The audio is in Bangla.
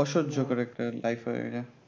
অসহ্যকর একটা